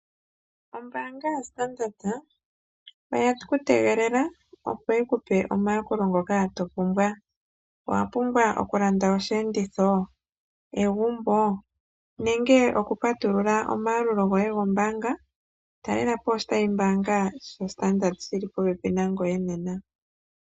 Ombaango ya standata oye ku tegelela opo yi ku pe omayukolo ngoka to pumbwa. Owa pumbwa okulanda osheenditho, egumbo nenge oku patulula omayalulo goye go mbaanga? Talelapo oshitayi mbaanga sha standata shili po pepi na ngoye nena.